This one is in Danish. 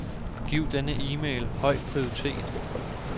Giv denne e-mail høj prioritet.